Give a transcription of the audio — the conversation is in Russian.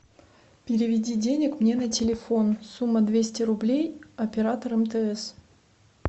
переведи денег мне на телефон сумма двести рублей оператор мтс